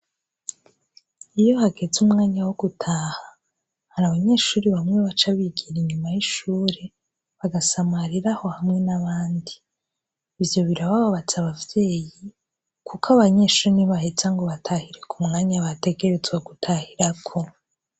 Iyo hageze umwanya wo gutaha hari abanyeshuri bamwe baco abigira inyuma y'ishure bagasamariraho hamwe n'abandi ivyo bira bababatse abavyeyi, kuko abanyeshuri ni bahe canga ubatahireku mwanya bategerezwa gutahirako.